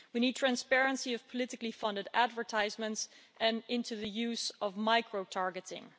We need transparency of politically-funded advertisements and in the use of micro-targeting.